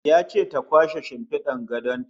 Ya ce ta kwashe shimfidar gadon ta